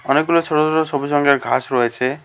অনেকগুলো ছোট ছোট সবুজ রঙের ঘাস রয়েছে।